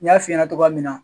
N y'a fiɲɛna tɔgɔya min na.